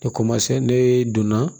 ne donna